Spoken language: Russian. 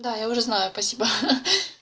да я уже знаю спасибо ха